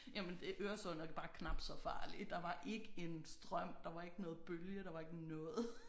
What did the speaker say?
Jamen det Øresund er bare knap så farlig der var ikke en strøm der var ikke noget bølge der var ikke noget